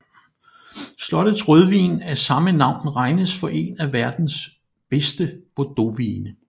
Slottets rødvin af samme navn regnes for en af verdens bedste bordeauxvine